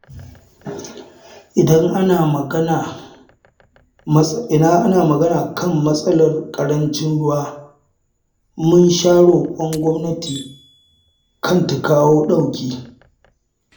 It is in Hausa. Idan ana magana kan matsalar ƙarancin ruwa, mun sha roƙon gwamnati kan ta kawo ɗauki.